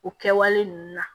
O kɛwale ninnu na